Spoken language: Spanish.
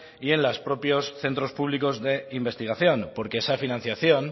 y en las propios centros públicos de investigación porque esa financiación